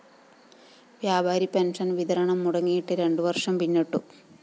വ്യാപാരി പെൻഷൻ വിതരണം മുടങ്ങിയിട്ട് രണ്ടു വര്‍ഷം പിന്നിട്ടു